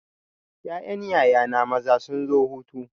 Ƴaƴan yaya na maza sun zo hutu.